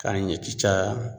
K'a ɲɛci caya